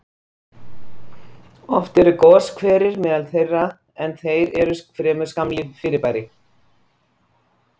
Oft eru goshverir meðal þeirra, en þeir eru fremur skammlíf fyrirbæri.